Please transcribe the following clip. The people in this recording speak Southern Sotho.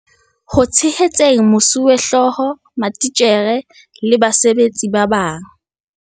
Ho tshehetseng mosuwehlooho, matitjhere le basebetsi ba bang.